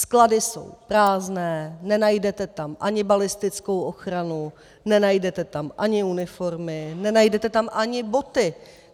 Sklady jsou prázdné, nenajdete tam ani balistickou ochranu, nenajdete tam ani uniformy, nenajdete tam ani boty.